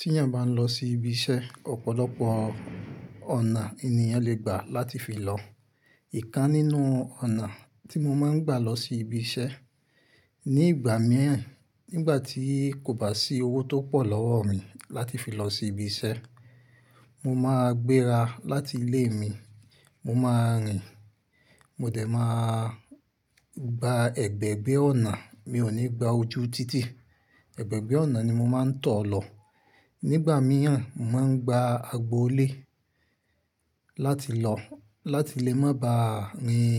Tí èèyàn bá ń lọ sí ibi iṣẹ́, ọ̀pọ̀lọpọ̀ ọ̀nà ènìyàn lè gbà láti fi lọ. Ìkan nínú ọ̀nà tí mo máa ń gbà lọ sí ibi iṣẹ́, ní ìgbà mìíràn nígbà tí kò bá sí owó tó pọ̀ lọ́wọ́ mi láti fi lọ sí ibi iṣẹ́, mo máa gbéra láti ilé mi, mo máa rìn. Mo dẹ̀ máa gba ẹ̀gbẹ̀gbẹ́ ọ̀nà, mi ò ní gba ojú títì. Ẹ̀gbẹ̀gbẹ́ ọ̀nà ni mo máa ń tọ̀ lọ. Nígbà mìíràn, mo máa ń gba agbo ilé láti lọ, láti lè má ba rìn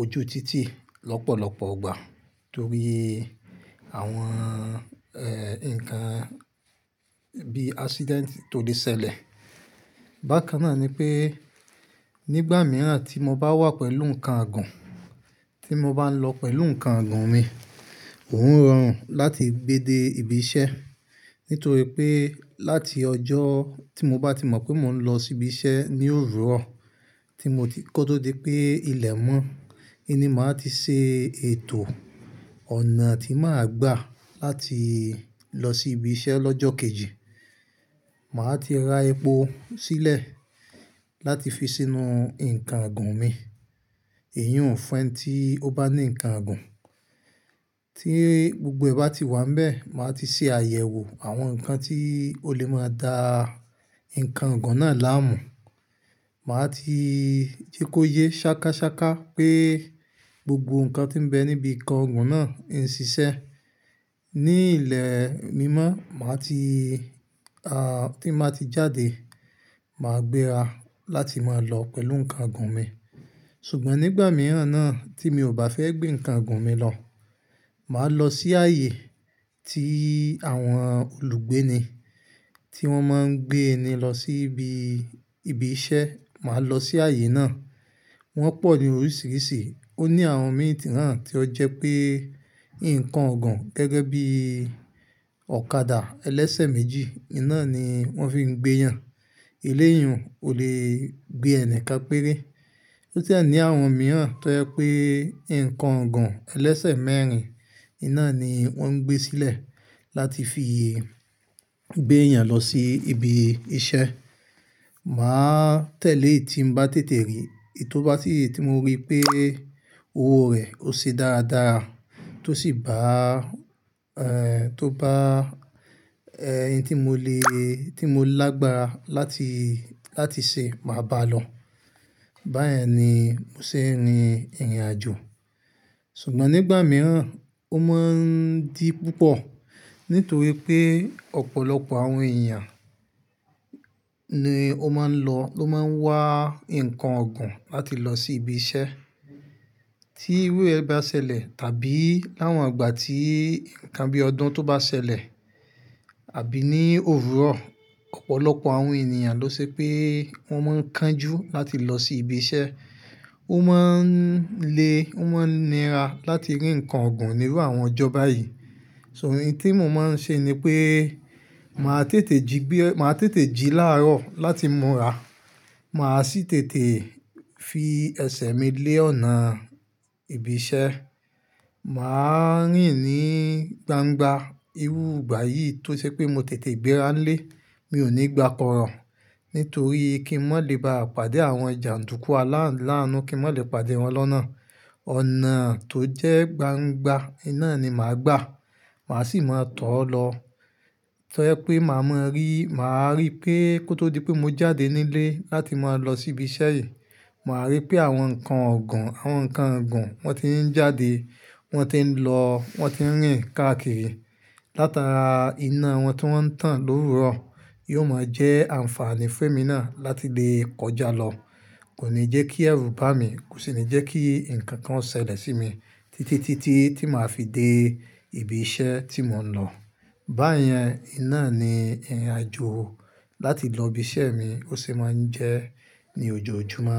ojú títì lọ́pọ̀lọpọ̀ ọgbà nítorí àwọn, ẹ́, ǹkan bí ijamba tó lè ṣẹlẹ̀. Bákan náà ni pé nígbà mìíràn tí mo bá wà pẹ̀lú nǹkan igùn, tí mo bá ń lọ pẹ̀lú nǹkan igùn mi, òun ń ràn láti gbé dé ibi iṣẹ́. Nítorí pé láti ọjọ́ tí mo bá ti mọ̀ pé mò ń lọ sí ibi iṣẹ́ ní òwúrọ̀ tí mo ti kọ́ tó di pé ilẹ̀ mọ́, ẹni máa ti ṣe ètò ọ̀nà tí màá gbà láti lọ sí ibi iṣẹ́ lọ́jọ́ kejì. Màá ti ra epo sílẹ̀ láti fi sínú nǹkan ọ̀gùn mi. Èyí ò ún fẹ́ tí ó bá ní nǹkan igùn. Tí gbogbo ẹba ti wà níbẹ̀, màá ti ṣe àyẹ̀wò àwọn ǹkan tí ó lè máa da nǹkan igùn náà láàmú. Màá ti jẹ́ kó yé ṣákáṣáká pé gbogbo ǹkan tí ń bẹ níbi nǹkan igùn náà ń ṣiṣẹ́. Ní ìlẹ̀ mímọ́, màá ti, à, tí màá ti jáde, màá gbéra láti máa lọ pẹ̀lú nǹkan igùn mi. Ṣùgbọ́n nígbà mìíràn náà tí mi ò bá fẹ́ gbé nǹkan igùn mi lọ, màá lọ sí ààyè tí àwọn olùgbé ni tí wọ́n máa ń gbé ẹni lọ sí ibi, ibi iṣẹ́. Màá lọ sí ààyè náà. Wọ́n pọ̀ ní oríṣìíríṣìí. Ó ní àwọn míì náà tí ó jẹ́ pé nǹkan igùn gẹ́gẹ́ bí ọ̀kadà ẹlẹ́sẹ̀ méjì, iná ni wọ́n fi ń gbé yàn. Eléyún ò lè gbé ẹnì ká péré. Lótí àní àwọn mìíràn tó jẹ́ pé nǹkan igùn ẹlẹ́sẹ̀ mẹ́rin, iná ni wọ́n ń gbé sílẹ̀ láti fi gbé èèyàn lọ sí ibi iṣẹ́. Màá tẹ̀lé èyí tí ń bá tètè rí. Èyí tó bá sì ti mo rí pé owó rẹ̀ ó ṣe dáadáa tó sì bá, ẹ́, tó bá, ẹ́, eyín tí mo lè, tí mo lágbára láti, láti ṣe, màá bá a lọ. Báyẹn ni mo ṣe ń rìn ìrìnàjò. Ṣùgbọ́n nígbà mìíràn, ó máa ń dí púpọ̀ nítorí pé ọ̀pọ̀lọpọ̀ àwọn èèyàn ni ó máa ń lọ, ló máa ń wá nǹkan ọ̀gùn láti lọ sí ibi iṣẹ́. Tí irú ẹgbẹ́ bá ṣẹlẹ̀ tàbí láwọn ìgbà tí ǹkan bí ọdún tó bá ṣẹlẹ̀ àbí ní òwúrọ̀, ọ̀pọ̀lọpọ̀ àwọn èèyàn ló ṣe pé wọ́n máa ń kánjú láti lọ sí ibi iṣẹ́. Ó máa ń le, ó máa ń nira láti rí nǹkan ọ̀gùn nílú àwọn ọjọ́ báyìí. So ìdí tí mo máa ń ṣe ni pé màá tètè jí gbé, màá tètè jí láàárọ̀ láti múra. Màá sì tètè fi ẹsẹ̀ mi lé ọ̀nà ibi iṣẹ́. Màá rìn ní gbangba irú ìgbà yìí tó ṣe pé mo tètè gbéra lé. Mi ò ní gba kọ̀rọ̀ nítorí kí n mò lè ba pàdé àwọn jàǹdùkú aláilàánú, kí n mò lè pàdé wọn lọ́nà. Ọ̀nà tó jẹ́ gbangba, iná ni màá gbà. Màá sì máa tọ̀ ọ́ lọ. Torí pé màá mọ rí, màá rí pé kó tó di pé mo jáde nílé láti máa lọ sí ibi iṣẹ́ yìí, màá rí pé àwọn nǹkan igùn, àwọn nǹkan igùn wọ́n ti ń jáde, wọ́n ti ń lọ, wọ́n ti ń rìn káàkiri látara iná wọn tí wọ́n ń tàn lórùrọ. Yóò máa jẹ́ àǹfààní fún èmi náà láti lè kọjá lọ. Kò ní jẹ́ kí ẹ̀rù bá mi, kò sì ní jẹ́ kí ǹkan kan ṣẹlẹ̀ sí mi títí, títí tí màá fi dé ibi iṣẹ́ tí mò ń lọ. Báyẹn, iná ni ìrìnàjò láti lọ ibi iṣẹ́ mi ó sì máa ń jẹ́ ní ojoojúmọ́.